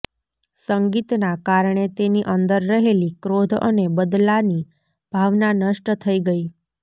સંગીતનાં કારણે તેની અંદર રહેલી ક્રોધ અને બદલાની ભાવના નષ્ટ થઈ ગઈ